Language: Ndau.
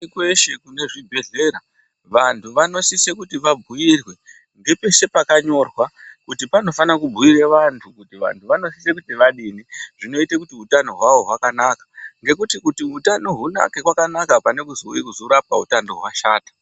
Kweshe kune zvibhedhleya vantu vanosisa kuti vabhuirwe ngepeshe pakanyorwa kuti panofana kubhuire vantu kuti vantu vanosisa kuti vadini zvinoite kuti utano hwavo hwakanaka ngekuti kuti utano hunake kwakanaka pane kuzouye kuzorapwa utano hwashata.